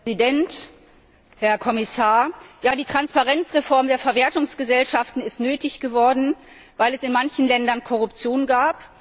Herr Präsident, Herr Kommissar! Die Transparenzreform der Verwertungsgesellschaften ist nötig geworden, weil es in manchen Ländern Korruption gab.